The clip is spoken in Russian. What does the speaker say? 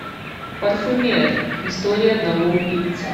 парфюмер история одного убийцы